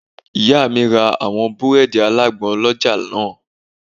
Ìyá mi ra àwọn búrẹ́ẹ́dì alágbọn lọ́jà náà